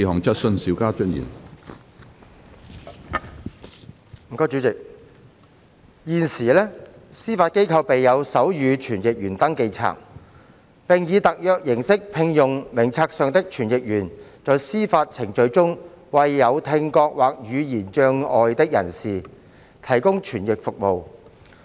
主席，現時，司法機構備有手語傳譯員登記冊，並以特約形式聘用名冊上的傳譯員在司法程序中為有聽覺或言語障礙的人士提供傳譯服務。